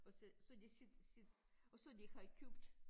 Og så så de sid sid og så de har købt